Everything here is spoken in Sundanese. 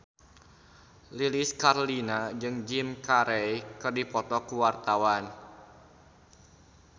Lilis Karlina jeung Jim Carey keur dipoto ku wartawan